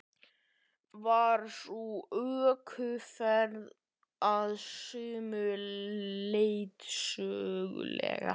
Var sú ökuferð að sumu leyti söguleg.